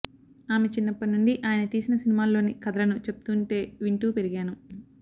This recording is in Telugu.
ఆమె చిన్నప్పటినుండి ఆయన తీసిన సినిమాల్లోని కథలను చెప్తుంటే వింటూ పెరిగాను